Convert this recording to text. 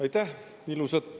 Aitäh!